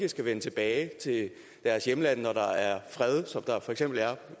vende tilbage til deres hjemland når der er fred som der for eksempel